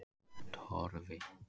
Torfi